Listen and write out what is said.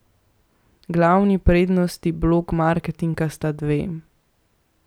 Glavni prednosti blog marketinga sta dve.